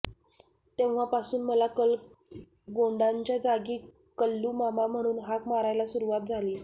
तेव्हापासून मला कलगोंडाच्या जागी कल्लूमामा म्हणून हाक मारायला सुरुवात झाली